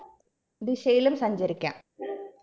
ദിശയിലും സഞ്ചരിക്കാം